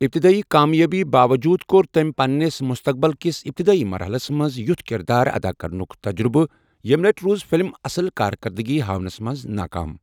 ابتدٲئی کامیٲبی باووٚجوٗد کوٚر تٔمۍ پننِس مُستَقبٕل کِس ابتدٲئی مرحلَس منٛز یُتھ کردار ادا کرنُک تجربہٕ، یمہِ لٹہِ روٗز فلم اصل کارکردٕگی ہاونَس منٛز ناکام۔